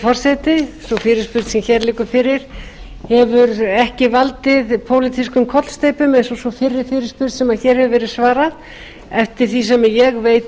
sú fyrirspurn sem hér liggur fyrir hefur ekki valdið pólitískum kollsteypum eins og sú fyrri fyrirspurn sem hér hefur verið svarað eftir því sem ég veit